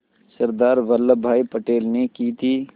सरदार वल्लभ भाई पटेल ने की थी